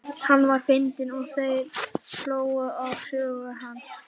Hann var fyndinn og þeir hlógu að sögum hans.